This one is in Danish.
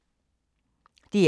DR K